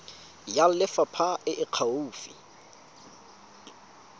ya lefapha e e gaufi